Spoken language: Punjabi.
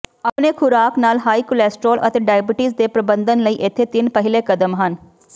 ਆਪਣੇ ਖੁਰਾਕ ਨਾਲ ਹਾਈ ਕੋਲੈਸਟਰੌਲ ਅਤੇ ਡਾਇਬੀਟੀਜ਼ ਦੇ ਪ੍ਰਬੰਧਨ ਲਈ ਇੱਥੇ ਤਿੰਨ ਪਹਿਲੇ ਕਦਮ ਹਨ